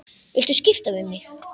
Viltu skipta við mig?